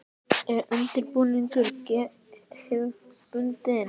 Er undirbúningur hefðbundin?